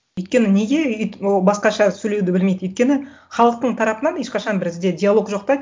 өйткені неге ол басқаша сөйлеуді білмейді өйткені халықтың тарапынан ешқашан бізде диалог жоқ та